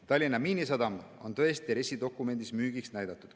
Tallinna Miinisadam on tõesti RES-i dokumendis müügiks mõeldud.